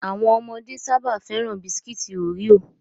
Àwọn ọmọdé sáábà féràn Bisikiti Oreo